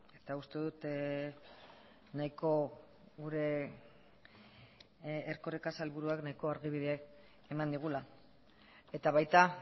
eta uste dut nahiko gure erkoreka sailburuak nahiko argibide eman digula eta baita